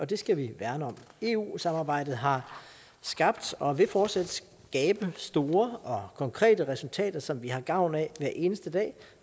det skal vi værne om eu samarbejdet har skabt og vil fortsat skabe store og konkrete resultater som vi har gavn af hver eneste dag